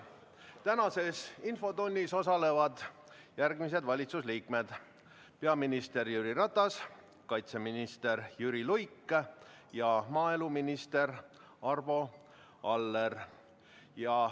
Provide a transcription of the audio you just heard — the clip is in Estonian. Tänases infotunnis osalevad järgmised valitsuse liikmed: peaminister Jüri Ratas, kaitseminister Jüri Luik ja maaeluminister Arvo Aller.